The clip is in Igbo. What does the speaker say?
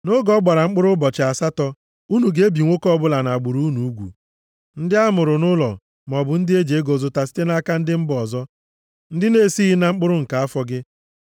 Nʼoge ọ gbara mkpụrụ ụbọchị asatọ, unu ga-ebi nwoke ọbụla nʼagbụrụ unu ugwu: ndị a mụrụ nʼụlọ, maọbụ ndị eji ego zụta site nʼaka ndị mba ọzọ, ndị na-esighị na mkpụrụ nke afọ gị.